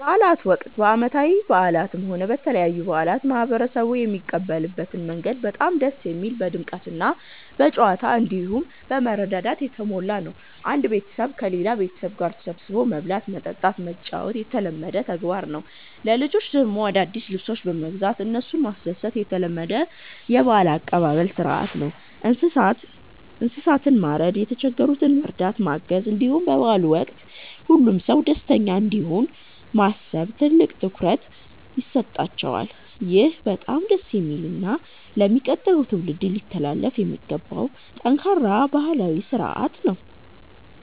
በበዓላት ወቅት፣ በዓመታዊ በዓላትም ሆነ በተለያዩ በዓላት ማህበረሰቡ የሚቀበልበት መንገድ በጣም ደስ የሚል፣ በድምቀትና በጨዋታ፣ እንዲሁም በመረዳዳት የተሞላ ነው። አንድ ቤተሰብ ከሌላ ቤተሰብ ጋር ተሰባስቦ መብላት፣ መጠጣትና መጫወት የተለመደ ተግባር ነው። ለልጆች ደግሞ አዳዲስ ልብሶችን በመግዛት እነሱን ማስደሰት የተለመደ የበዓል አቀባበል ሥርዓት ነው። እንስሳትን ማረድ፣ የተቸገሩትን መርዳትና ማገዝ፣ እንዲሁም በበዓሉ ወቅት ሁሉም ሰው ደስተኛ እንዲሆን ማሰብ ትልቅ ትኩረት ይሰጠዋል። ይህ በጣም ደስ የሚልና ለሚቀጥለው ትውልድ ሊተላለፍ የሚገባው ጠንካራ ባህላዊ ሥርዓት ነው።